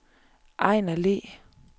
Ejnar Le